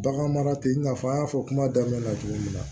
Bagan mara tɛ i n'a fɔ an y'a fɔ kuma daminɛ na cogo min na